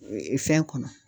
fɛn kɔnɔ